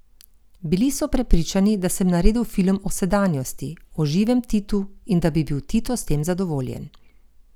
Bili so prepričani, da sem naredil film o sedanjosti, o živem Titu, in da bi bil Tito s tem zadovoljen.